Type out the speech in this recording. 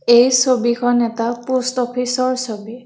এই ছবিখন এটা প'ষ্ট অফিচৰ ছবি।